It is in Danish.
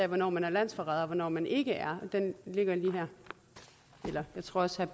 hvornår man er landsforræder og hvornår man ikke er den ligger lige her jeg tror også